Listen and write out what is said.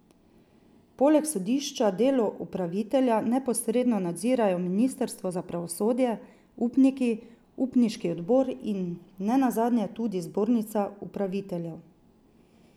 Poleg sodišča delo upravitelja neposredno nadzirajo ministrstvo za pravosodje, upniki, upniški odbor in ne nazadnje tudi zbornica upraviteljev.